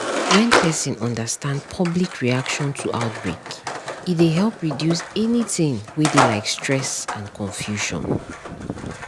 when person understand public reaction to outbreak e dey help reduce anytin wey dey like stress and confusion